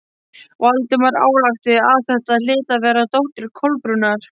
Valdimar ályktaði að þetta hlyti að vera dóttir Kolbrúnar.